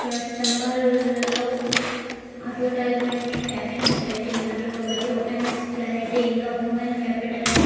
ఇక్కడ స్తంభాల్లాలో advertisement captions పెట్టి ఉన్నారు ఒకటి ఓపెన్న్స్ క్లారిటీ ఇంకా హ్యూమన్ కాపిటల్ అని.